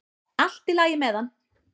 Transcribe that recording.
Allt í lagi með hann!